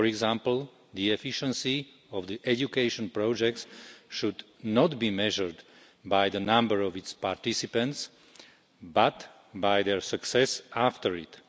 For example, the efficiency of the education projects should not be measured by the number of its participants, but by their success after it.